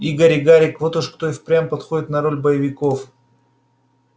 игорь и гарик вот уж кто и впрямь подходит на роль боевиков